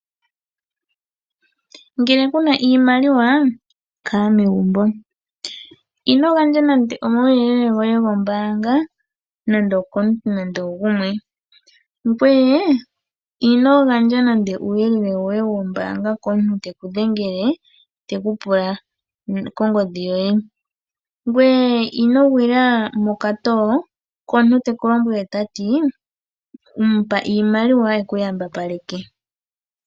Ngele kuna iimaliwa kala megumbo. Ino gandja nande omauyelele goye gombaanga nande okumuntu nande ogumwe. Ngweye ino gandja nande uuyelele woye wombaanga nande okumuntu teku dhengele teku pula kongodhi yoye ngoye ino gwila mokatowo komuntu teku lombwele tati mupa iimaliwa ekuyambapaleke.